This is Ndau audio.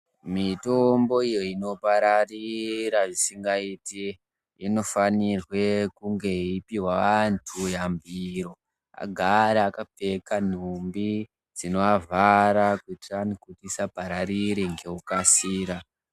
Mitombo iyo inopararira zvisingaiti inofanirwe kunge yeipiwa antu yambiro kuti agare akapfeka nhumbi dzinovavhara kuti vasapararira ngekukasira.